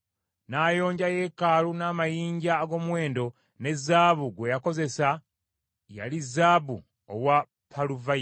N’ayonja yeekaalu n’amayinja ag’omuwendo, ne zaabu gwe yakozesa yali zaabu owa Paluvayimu.